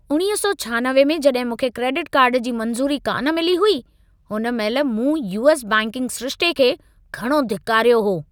1996 में जॾहिं मूंखे क्रेडिट कार्ड जी मंज़ूरी कान मिली हुई, हुन महिल मूं यू.एस. बैंकिंग सिरिशिते खे घणो धिकारियो हो!